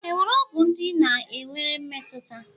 Enwere ọgwụ ndị ị na-enwere mmetụta?